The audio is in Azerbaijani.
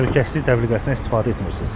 Təhlükəsizlik dəbilqəsindən istifadə etmirsiz.